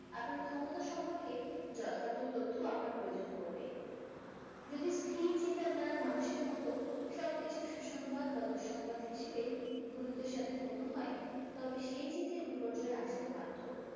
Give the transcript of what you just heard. আপনার ক্ষমতা সম্পর্কে যথার্থ তথ্য আপনার প্রয়োজন পড়বে। যদি স্থির চিন্তাধারার মানুষের মতো সবকিছু সুসংবাদ বা দুঃসংবাদ হিসেবে গুরুত্বের সাথে গণ্য হয় তবে সেই থেকে বিপর্যয় আসতে বাধ্য।